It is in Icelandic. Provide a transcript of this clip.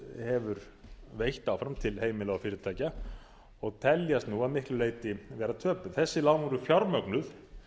hefur veitt áfram til heimila og fyrirtækja og teljast þau nú að miklu leyti vera töpuð þessi lán voru fjármögnuð